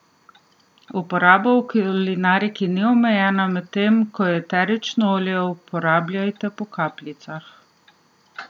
Uporaba v kulinariki ni omejena, medtem ko eterično olje uporabljajte po kapljicah.